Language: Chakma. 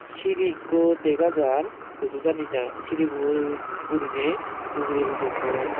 seri eko degajar hudu jani jar seribot guriney ugurey udonoi.